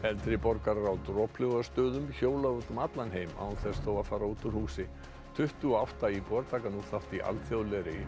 eldri borgarar á Droplaugarstöðum hjóla út um allan heim án þess þó að fara úr húsi tuttugu og átta íbúar taka nú þátt í alþjóðlegri